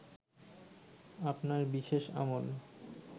আপনার বিশেষ আমল